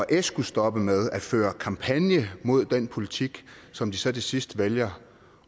s kunne stoppe med at føre kampagne mod den politik som de så til sidst vælger